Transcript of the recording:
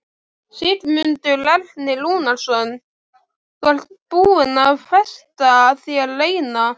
Sigmundur Ernir Rúnarsson: Þú ert búin að festa þér eina?